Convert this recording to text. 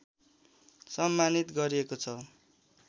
सम्मानित गरिएको छ